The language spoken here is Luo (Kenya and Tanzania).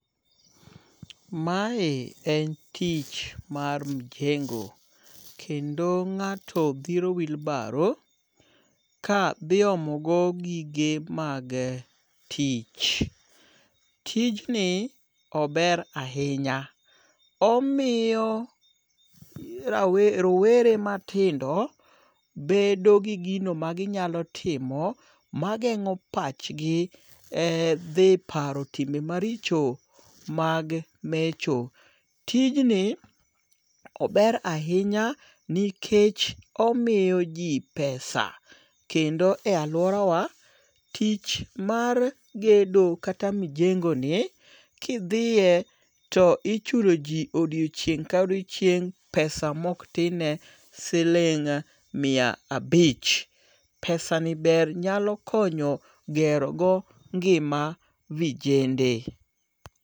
Mae en tich mar mjengo', kendo nga'to thiro wheelbarrow ka thiomogo gige mage tich, tijni ober ahinya, omiyo rawere rowere matindo bedo gi gino ma ginyalo timo, magengo' pachgi ee thi paro timo timbe maricho mag mecho, tijni ober ahinya nikech omiyo ji pesa kendo e aluorawa tich mar gedo kata mjengo'ni kithie to ichuloji odiochieng' ka odiochieng' pesa ma oktinne siling' mia a abich, pesani ber nyalo nyako konyo gerogo ngi'ma vijende.